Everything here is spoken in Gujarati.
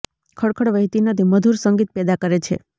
ખળખળ વહેતી નદી મધુર સંગીત પેદા કરે છે